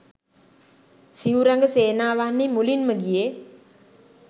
සිව් රඟ සේනාවන්හි මුලින්ම ගියේ